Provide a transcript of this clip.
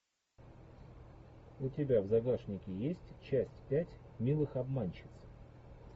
у тебя в загашнике есть часть пять милых обманщиц